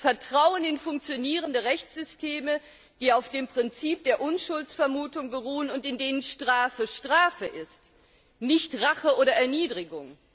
Vertrauen in funktionierende Rechtssysteme, die auf dem Prinzip der Unschuldsvermutung beruhen und in denen Strafe Strafe ist, nicht Rache oder Erniedrigung.